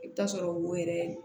I bɛ taa sɔrɔ wo yɛrɛ